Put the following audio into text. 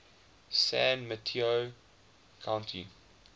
san mateo county